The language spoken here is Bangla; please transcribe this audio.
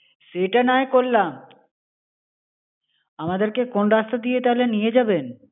সেটা না হয় করলাম। আমাদেরকে কোন রাস্তা দিয়ে তাহলে নিয়ে যাবেন?